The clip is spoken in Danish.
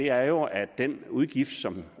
er jo at den udgift som